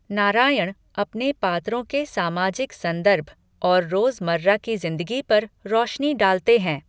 नारायण अपने पात्रों के सामाजिक संदर्भ और रोजमर्रा की जिंदगी पर रौशनी डालते हैं।